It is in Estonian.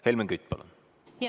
Helmen Kütt, palun!